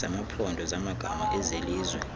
zamaphondo zamagama ezelizwe